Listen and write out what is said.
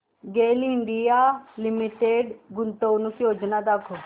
गेल India Limited गुंतवणूक योजना दाखव